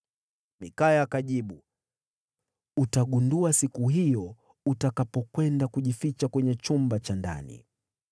Mikaya akajibu, “Utagundua siku hiyo utakapokwenda kujificha kwenye chumba cha ndani.”